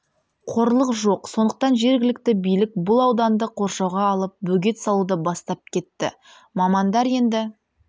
қорлық жоқ сондықтан жергілікті билік бұл ауданды қоршауға алып бөгет салуды бастап кетті мамандар енді